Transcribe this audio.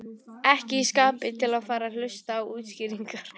Ekki í skapi til að fara að hlusta á útskýringar.